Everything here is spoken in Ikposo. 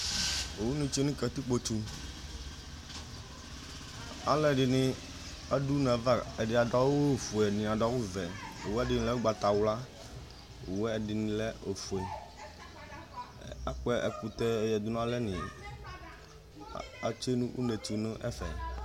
owu ni tsue no katikpoɛto aloɛdini ado une ava ɛdi ado awu fue ɛdini ado awu vɛ owu wani ɛdi lɛ ugbata wla owue ɛdini lɛ ofue akpɔ ɛkotɛ yadu no alɛ ni atsue no uneɛto no ɛfɛ